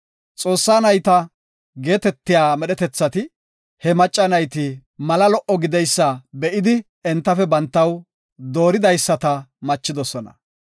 “Xoossaa nayta” geetetiya medhetethati he macca nayti mala lo77o gideysa be7idi entafe bantaw dooridaysata machidosona.